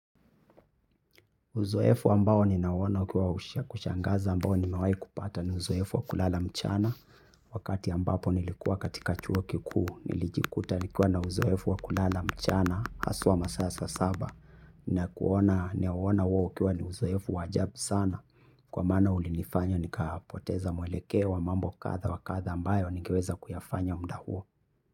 Uzoefu ambao nina uona ukiwa wa kushangaza ambao nimewahi kupata ni uzoefu wakulala mchana. Wakati ambapo nilikuwa katika chuo kikuu, nilijikuta nikiwa na uzoefu wa kulala mchana haswa masaa ya saa saba. Na kuona ninauona huo ukiwa ni uzoefu wa ajabu sana, kwa maana ulinifanya nikapoteza mwelekeo wa mambo kadha wa kadha ambayo nigeweza kuyafanya muda huo.